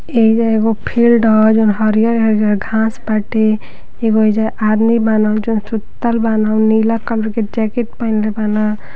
एइजा एगो फील्ड ह जोन हरियर-हरियर घांस बाटे। एगो एइजा आदमी बान जोन सुतल बान नीला कलर के जैकेट पहीनले बान।